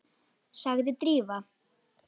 sagði Drífa.